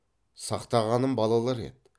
сақтағаным балалар еді